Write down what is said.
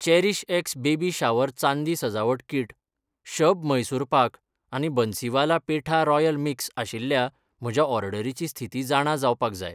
CherishX baby shower चांदी सजावट किट, शब म्हैसूर पाक आनी बन्सीवाला पेठा रॉयल मिक्स आशिल्ल्या म्हज्या ऑर्डरीची स्थिती जाणा जावपाक जाय